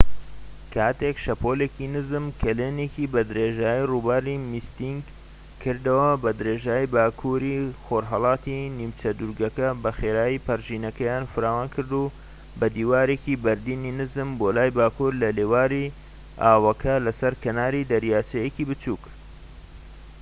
کاتێک شەپۆڵیکی نزم کەلێنێکی بە درێژایی ڕووباری میستیک کردەوە بە درێژایی باکووری خۆرھەڵاتی نیمچە دوورگەکە بەخێرایی پەرژینەکەیان فراوانکرد بە دیوارێکی بەردینی نزم بۆ لای باکوور لە لێواری ئاوەکە لە سەر کەنار دەریایەکی بچووك